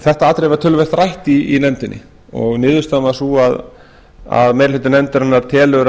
þetta atriði var töluvert rætt í nefndinni og niðurstaðan varð sú að meiri hluti nefndarinnar telur